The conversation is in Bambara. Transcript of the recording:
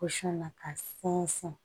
na ka sɛnsɛn